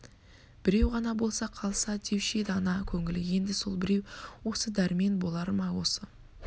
біреу ғана болса қалса деуші еді ана көңілі енді сол біреу осы дәрмен болар ма осы